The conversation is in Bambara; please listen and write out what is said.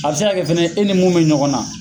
A be se ka kɛ fɛnɛ e ni mun be ɲɔgɔn na